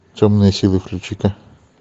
темные силы включи ка